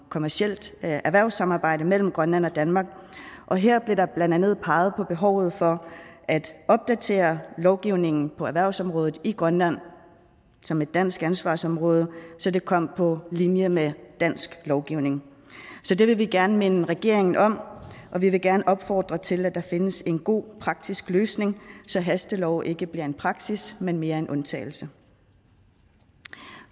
kommercielt erhvervssamarbejde mellem grønland og danmark og her blev der blandt andet peget på behovet for at opdatere lovgivningen på erhvervsområdet i grønland som et dansk ansvarsområde så det kom på linje med dansk lovgivning så det vil vi gerne minde regeringen om og vi vil gerne opfordre til at der findes en god praktisk løsning så hastelov ikke bliver en praksis men mere en undtagelse